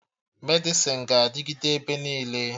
Medịsịn ga-adịgịde ebe niile